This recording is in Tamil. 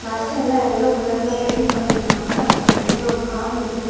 பஸ் எல்லாம் எல்லோ கலர்ல பெயிண்ட் பண்ணிருகாங்க அப்புறம் சைடுல ஒரு கார் நிக்குது.